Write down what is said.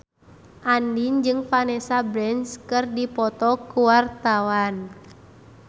Andien jeung Vanessa Branch keur dipoto ku wartawan